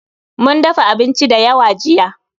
Mun dafa abinci da yawa jiya